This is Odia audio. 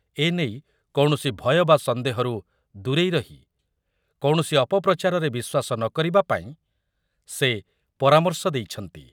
ଏ ନେଇ କୌଣସି ଭୟ ବା ସନ୍ଦେହରୁ ଦୂରେଇ ରହି କୌଣସି ଅପପ୍ରଚାରରେ ବିଶ୍ୱାସ ନକରିବା ପାଇଁ ସେ ପରାମର୍ଶ ଦେଇଛନ୍ତି।